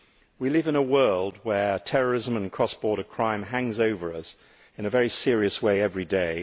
We live in a world where terrorism and cross border crime hang over us in a very serious way every day.